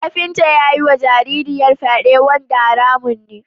Kafinta ya yiwa yarinyar fyade wanda haramun ne.